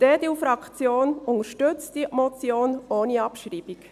Die EDUFraktion unterstützt diese Motion ohne Abschreibung.